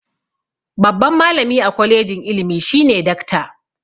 Babban malami a kwalijin ilimi shine dakta.